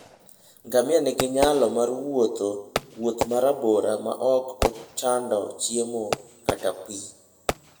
Ngamia nigi nyalo mar wuotho wuoth ma rabora maok ochando chiemo kata pi.